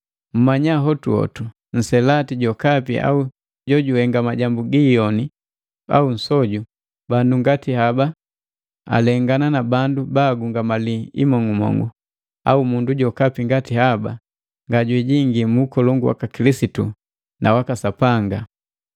Mmanya hotuhotu, nselati jokapi au jojuhenga majambu giiyoni au nsoju bandu ngati haba alengana na bandu baagungamali imong'umong'u, au mundu jokapi ngati haba ngajijingi mu ukolongu waka Kilisitu na waka Sapanga.